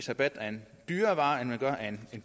rabat af en dyrere vare end man gør af en